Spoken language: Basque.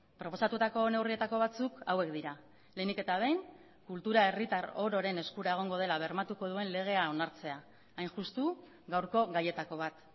proposatutako neurrietako batzuk hauek dira lehenik eta behin kultura herritar ororen eskura egongo dela bermatuko duen legea onartzea hain justu gaurko gaietako bat